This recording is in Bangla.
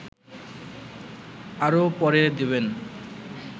আরও পরে দেবেন